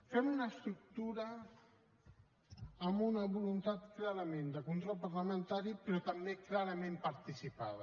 fem una estructura amb una voluntat clarament de control parlamentari però també clarament participada